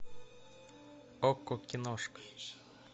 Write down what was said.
окко киношка